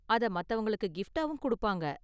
அத மத்தவங்களுக்கு கிஃப்ட்டாவும் கொடுப்பாங்க.